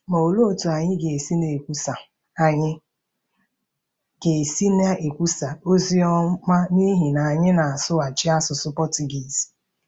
Ma olee otú anyị ga-esi na-ekwusa anyị ga-esi na-ekwusa ozi ọma n’ihi na anyị na-asụchaghị asụsụ Pọchugiiz?